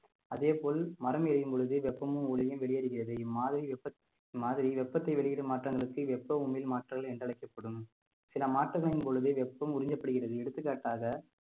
அதே போல் மரம் எரியும் பொழுது வெப்பமும் ஒளியும் வெளியேறுகிறது இம்மாதிரி வெப்ப மாதிரி வெப்பத்தை வெளியிடும் மாற்றங்களுக்கு வெப்ப உமிழ் மாற்றங்கள் என்று அழைக்கப்படும் சில மாற்றங்களின் பொழுது வெப்பம் உறிஞ்சப்படுகிறது எடுத்துக்காட்டாக